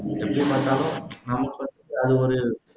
எப்படி பாத்தாலும் அது ஒரு